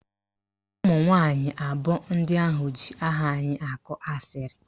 Ụmụnwanyị abụọ ndị ahụ ji aha anyị akọ asịrị